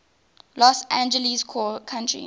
los angeles county